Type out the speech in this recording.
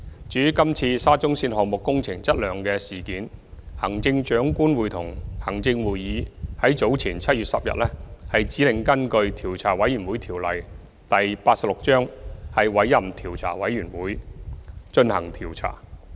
至於今次沙中線項目工程質量的事件，行政長官會同行政會議在早前於7月10日指令根據《調查委員會條例》委任調查委員會進行調查。